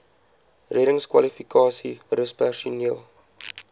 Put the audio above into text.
reddingskwalifikasies rus personeel